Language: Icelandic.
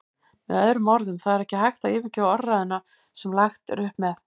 Með öðrum orðum, það er ekki hægt að yfirgefa orðræðuna sem lagt er upp með.